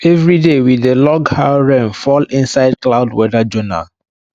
everyday we dey log how rain fall inside cloud weather journal